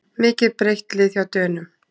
Mikið breytt lið hjá Dönum